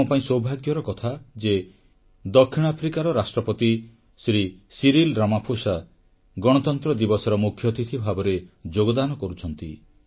ଆମପାଇଁ ସୌଭାଗ୍ୟର କଥା ଯେ ଦକ୍ଷିଣ ଆଫ୍ରିକାର ରାଷ୍ଟ୍ରପତି ଶ୍ରୀ ସିରିଲ୍ ରାମାଫୋସ୍ ଗଣତନ୍ତ୍ର ଦିବସର ମୁଖ୍ୟଅତିଥି ଭାବରେ ଯୋଗଦାନ କରୁଛନ୍ତି